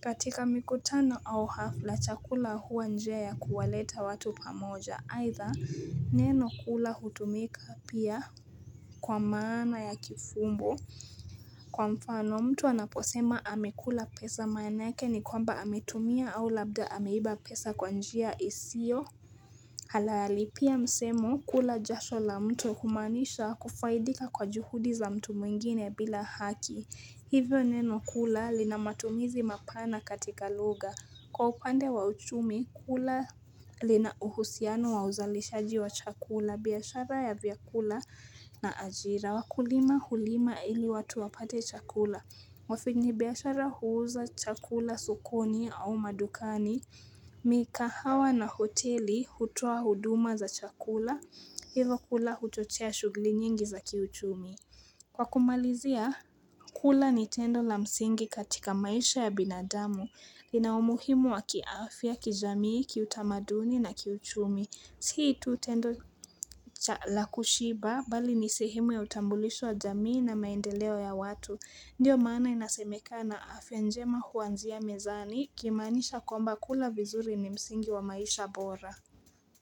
katika mikutano au hafla chakula huwa njia ya kuwaleta watu pamoja Aitha neno kula hutumika pia kwa maana ya kifumbo mtu anaposema amekula pesa manake ni kwamba ametumia au labda ameiba pesa kwa njia isio. Halali pia msemo kula jasho la mtu kumanisha kufaidika kwa juhudi za mtu mwingine bila haki. Hivyo neno kula lina matumizi mapana katika loga. Kwa upande wa uchumi kula linauhusiano wa uzalishaji wa chakula biashara ya vyakula na ajira. Wakulima hulima ili watu wapate chakula. Wafanyibiashara huuza chakula sokoni au madukani, mikahawa na hoteli hutua huduma za chakula, hivo kula huchochea shughli nyingi za kiuchumi. Kwa kumalizia, kula ni tendo la msingi katika maisha ya binadamu. Lina umuhimu wa kiaafya, kijamii, kiutamaduni na kiuchumi. Si tu tendo la kushiba, bali ni sehemu ya utambulisho wa jamii na maendeleo ya watu. Ndiyo maana inasemeka na afya njema huanzia mezani kimanisha kwamba kula vizuri ni msingi wa maisha bora.